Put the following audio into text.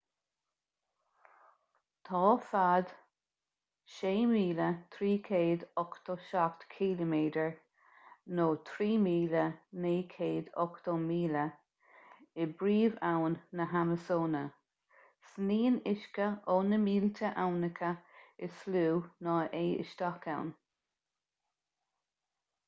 tá fad 6,387 km 3,980 míle i bpríomhabhainn na hamasóine. sníonn uisce ó na mílte aibhneacha is lú ná é isteach ann